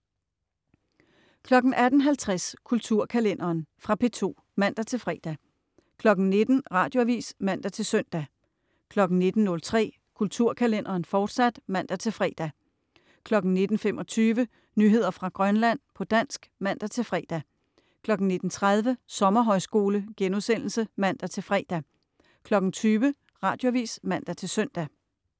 18.50 Kulturkalenderen. Fra P2 (man-fre) 19.00 Radioavis (man-søn) 19.03 Kulturkalenderen, fortsat (man-fre) 19.25 Nyheder fra Grønland, på dansk (man-fre) 19.30 Sommerhøjskole* (man-fre) 20.00 Radioavis (man-søn)